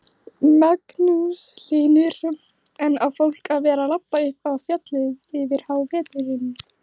Magnús Hlynur: En á fólk að vera labba upp á fjallið yfir háveturinn?